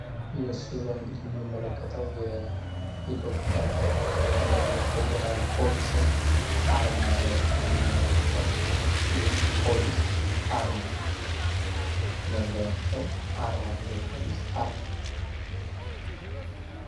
ምስሉጋ እንግዲህ የምንመለከተው የኢትዮጵያ የፌዴራል ፖሊስን አርማ ነው። ሚንመለከተው የፖሊስ አርማኖ መለያቸው አርማ ነው የፖሊስ አርማ ነው።